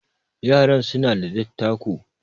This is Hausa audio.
yaran suna da dattako